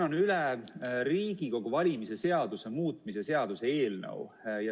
Annan üle Riigikogu valimise seaduse muutmise seaduse eelnõu.